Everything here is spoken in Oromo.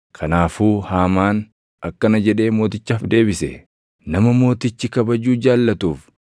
Kanaafuu Haamaan akkana jedhee mootichaaf deebise; “Nama mootichi kabajuu jaallatuuf,